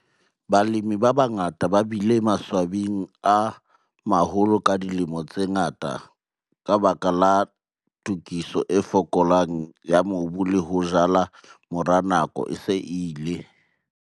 Balemi ba bangata ba bile maswabing a maholo ka dilemo tse ngata ka baka la tokiso e fokolang ya mobu le ho jala morao nako e se e ile.